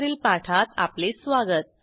वरील पाठात आपले स्वागत